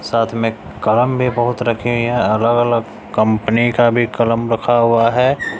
साथ में कलम भी बहुत रखें यहां अलग अलग कंपनी का भी कलम रखा हुआ है।